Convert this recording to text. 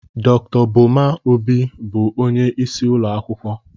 Dr. Boma Obi bụ onye isi ụlọ akwụkwọ.